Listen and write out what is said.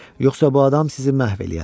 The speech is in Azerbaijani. Yoxsa bu adam sizi məhv eləyər.